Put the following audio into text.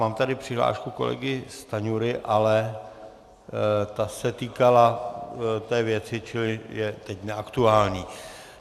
Mám tady přihlášku kolegy Stanjury, ale ta se týkala té věci, čili je teď neaktuální.